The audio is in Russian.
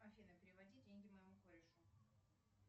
афина переводи деньги моему корешу